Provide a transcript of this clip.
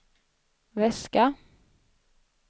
väska